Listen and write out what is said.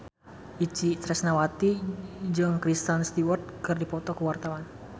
Itje Tresnawati jeung Kristen Stewart keur dipoto ku wartawan